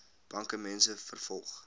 banke mense vervolg